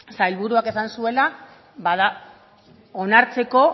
sailburuak esan zuela onartzeko